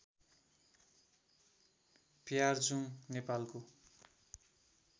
प्यार्जुङ नेपालको